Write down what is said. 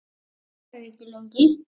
Það verður ekki lengi.